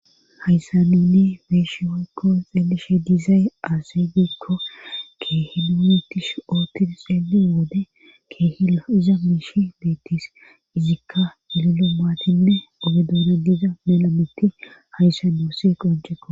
hayssan nuni beyishi woykko xeelishe dizay aase giikko keehilunitish ootti xeeli wode keehio iza miishi beettis izikka lilo maatinne ogedona diiza melamitti hayssan doysi qonceko